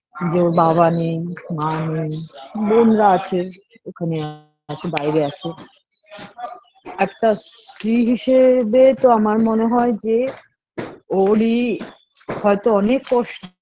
যে ওর বাবা নেই মা নেই বোনরা আছে ওখানে আছে বাইরে আছে একটা স্ত্রী হিসেবে তো আমার মনে হয়ে যে ওরই হয়তো অনেক কষ্ট